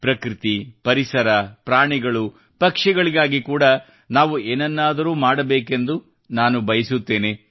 ಪ್ರಕೃತಿ ಪರಿಸರ ಪ್ರಾಣಿಗಳು ಪಕ್ಷಿಗಳಿಗಾಗಿ ಕೂಡಾ ನಾವು ಏನನ್ನಾದರೂ ಮಾಡಬೇಕೆಂದು ನಾನು ಬಯಸುತ್ತೇನೆ